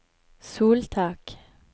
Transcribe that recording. soltak